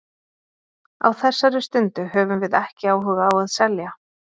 Á þessari stundu höfum við ekki áhuga á að selja.